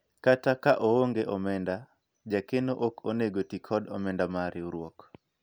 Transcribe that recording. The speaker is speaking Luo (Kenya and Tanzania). kata ka oonge omenda ,jakeno ok onego tii kod omenda mar riwruok